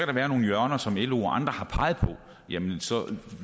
der være nogle hjørner som lo og andre har peget på jamen så